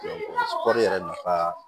kɔɔri yɛrɛ nafa